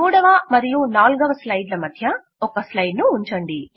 3వ మరియు 4వ స్లైడ్ మధ్య ఒక స్లైడ్ ను ఉంచండి